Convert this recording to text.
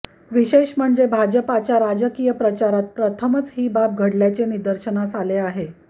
विशेष म्हणजे भाजपाच्या राजकीय प्रचारात प्रथमच ही बाब घडल्याचे निदर्शनास आले आहे